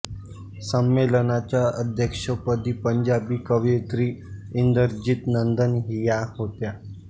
संमेलनाच्या अध्यक्षपदी पंजाबी कवयित्री इंदरजीत नंदन या होत्या